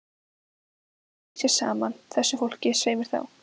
Ekki er okkur fisjað saman, þessu fólki, svei mér þá!